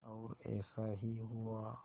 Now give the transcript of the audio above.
और ऐसा ही हुआ